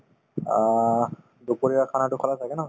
অ, দুপৰীয়াৰ khana তো খালা ছাগে ন